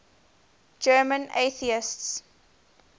german atheists